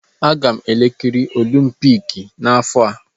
Aga m ekiri olimpiks n'afọ a.